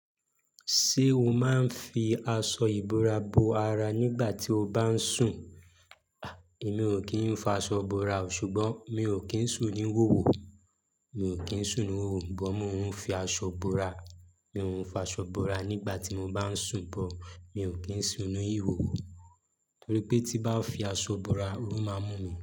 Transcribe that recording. Ṣé o máa ń fi aṣọ ìbora bo ara nígbà tí o bá ń sùn? Mi ò kí ń fọ aṣọ bora o, ṣùgbọ́n mi ò kí ń sùn ní wòwò. Mi ò kí ń sùn ní wòwò, ṣùgbọ́n mo ń fi aṣọ ìbora. Mi ò ń fi aṣọ bora nígbà tí mo bá ń sùn, bo mi ò kí ń sùn nínú ìhòhò torí pé tí bá fi aṣọ bora, óru máa mú mi.